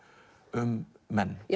um menn